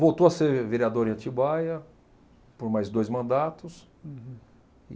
Voltou a ser vereador em Atibaia por mais dois mandatos. Uhum. E